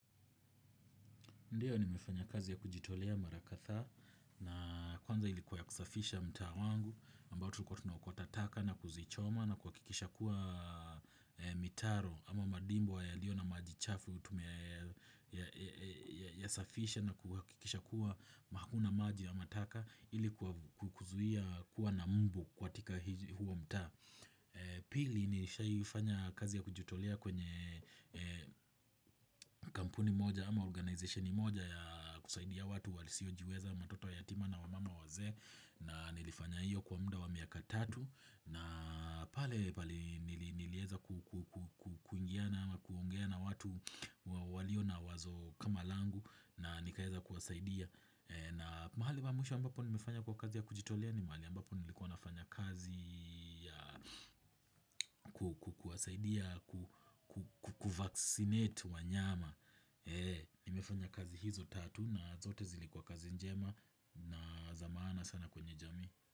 Ndiyo nimefanya kazi ya kujitolea mara kathaa na kwanza ilikuwa ya kusafisha mtaa wangu ambao tulikua tunaokota taka na kuzichoma na kuhakikisha kuwa mitaro ama madimbo yaliyo na maji chafu ya safisha na kuhakikisha kuwa hakuna maji ya mataka ilikuwa kuzuia kuwa na mbu kwa tika huo mta. Pili nilishai fanya kazi ya kujitolea kwenye kampuni moja ama organization moja ya kusaidia watu walisiojiweza matoto yatima na wamama wazee. Na nilifanya iyo kwa muda wa miaka tatu. Na pale pale nilieza kuingiana ama kuongea na watu walio na wazo kama langu. Na nikaeza kuwasaidia. Na mahali mamusha ambapo nilifanya kwa kazi ya kujitolea ni mahali ambapo nilikuwa nafanya kazi kuwasaidia ku vaccinate wanyama nimefanya kazi hizo tatu na zote zilikuwa kazi njema na za maana sana kwenye jamii.